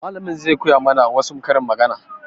Mallamin zai koya ma na wa su karin magana